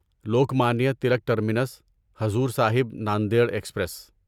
Lokmanya Tilak terminus Hazur Sahib Nanded express